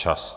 Čas!